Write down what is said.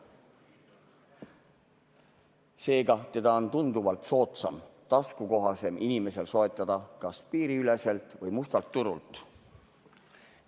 Seega, seda on tunduvalt soodsam, taskukohasem inimesel soetada kas piiriüleselt või mustalt turult.